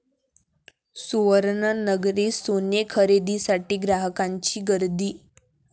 सुवर्ण नगरीत 'सोने' खरेदीसाठी ग्राहकांची गर्दी